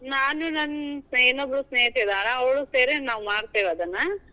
ನಾನು ನನ್ ಇನ್ನೊಬ್ಬಳು ಸ್ನೇಹಿತೆ ಇದಾಳಾ, ಅವ್ಳು ಸೇರಿ ನಾವ್ ಮಾಡ್ತೇವ್ ಅದ್ನಾ.